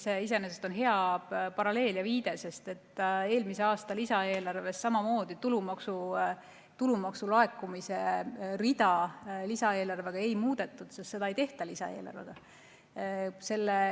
See iseenesest on hea paralleel ja viide, sest eelmise aasta lisaeelarves samamoodi tulumaksu laekumise rida lisaeelarvega ei muudetud – seda ei tehta lisaeelarvega.